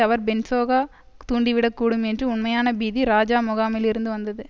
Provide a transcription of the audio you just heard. அவர் பொன்சோகா தூண்டிவிடக்கூடும் என்று உண்மையான பீதி இராஜா முகாமில் இருந்து வந்தது